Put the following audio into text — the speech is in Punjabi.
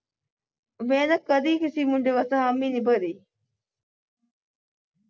ਮੈਂ ਨਾ ਕਦੀ ਕਿਸੀ ਮੁੰਡੇ ਵਾਸਤੇ ਹਾਮੀ ਨੀ ਭਰੀ।